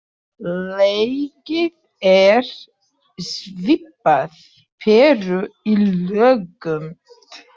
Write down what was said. Legið er svipað peru í lögun.